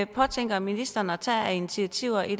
påtænker ministeren at tage af initiativer i